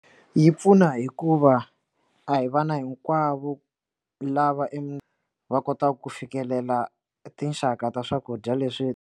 Yi pfuna hikuva a hi vana hinkwavo lava va kotaka ku fikelela tinxaka ta swakudya leswi.